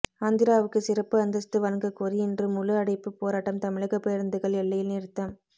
ஆந்திராவுக்கு சிறப்பு அந்தஸ்து வழங்ககோரி இன்று முழு அடைப்பு போராட்டம் தமிழக பேருந்துகள் எல்லையில் நிறுத்தம்